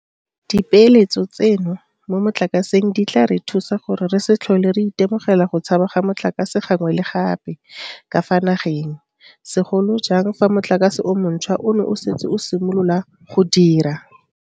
Dipeeletso tseno mo motlakaseng di tla re thusa gore re se tlhole re itemogela go tshaba ga motlakase gangwe le gape ka fa nageng, segolo jang fa motlakase o montšhwa ono o setse o simolotse go dira.